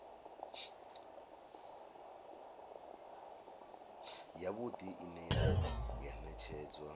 si yavhuḓi ine ya ṅetshedzwa